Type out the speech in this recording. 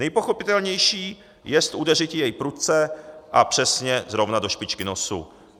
Nejpochopitelnější jest udeřiti jej prudce a přesně zrovna do špičky nosu.